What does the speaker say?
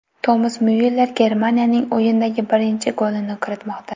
Tomas Myuller Germaniyaning o‘yindagi birinchi golini kiritmoqda.